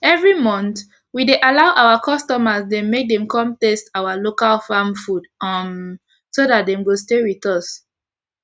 everi month we dey allow our customer dem make dem kon taste our local farm food um so dat dem go stay with us